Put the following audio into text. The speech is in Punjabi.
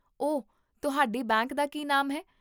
ਓਹ, ਤੁਹਾਡੇ ਬੈਂਕ ਦਾ ਕੀ ਨਾਮ ਹੈ?